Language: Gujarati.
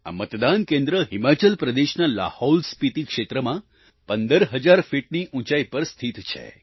આ મતદાના કેન્દ્ર હિમાચલ પ્રદેશના લાહૌલસ્પિતિ ક્ષેત્રમાં 15000 ફીટની ઉંચાઈ પર સ્થિત છે